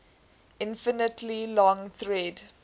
infinitely long thread